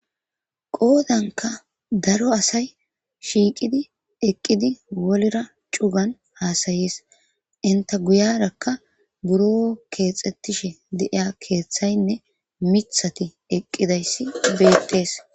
qoodanka daro asay shiiqidi eqqidi wolra cugan haasayees inta guyarakka buro keexettishe deiya keeththaynne mithati eqqidayssi beettees